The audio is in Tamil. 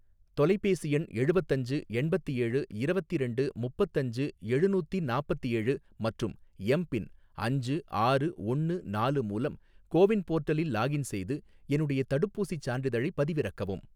தொலைபேசி எண் எழுவத்தஞ்சு எண்பத்தேழு இரவத்திரண்டு முப்பத்தஞ்சு எழுநூத்தி நாப்பத்தேழு மற்றும் எம் பின் அஞ்சு ஆறு ஒன்னு நாலு மூலம் கோ வின் போர்ட்டலில் லாகின் செய்து என்னுடைய தடுப்பூசிச் சான்றிதழைப் பதிவிறக்கவும்